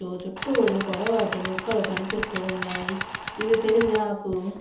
చుట్టూరు పొడవాటి మొక్కలు కనిపిస్తున్నాయి. ఇది తులసి నాకు --